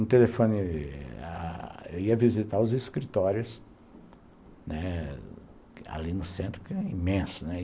Um telefone... Eu ia visitar os escritórios, né, ali no centro, que é imenso, né?